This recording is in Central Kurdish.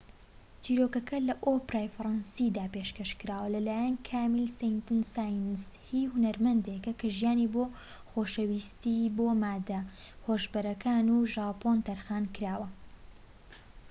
چیرۆکەکە لە ئۆپێرای فەرەنسیدا پێشکەش کراوە لەلایەن کامیل سەینت ساینس هی هونەرمەندێکە کە ژیانی بۆ خۆشەویستی بۆ ماددە هۆشبەرەکان و ژاپۆن تەرخانکراوە